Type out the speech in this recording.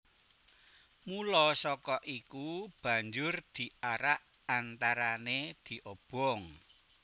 Mula saka iku banjur diarak antarané diobong